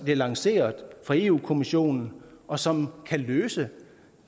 lanceret af europa kommissionen og som kan løse